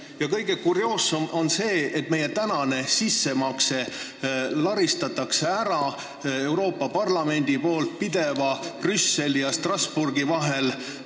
Ja kõige kurioossem on see, et meie sissemakstud raha laristab Euroopa Parlament pidevalt Brüsseli ja Strasbourgi vahel kolides ära.